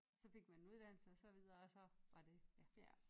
Så fik man en uddannelse og så videre og så var det ja